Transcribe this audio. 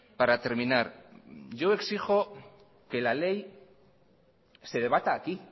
para terminar yo exijo que la ley se debata aquí